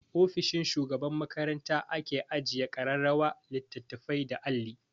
Ofishin shugaban makaranta ake ajiye ƙararrawa, littattafai da alli.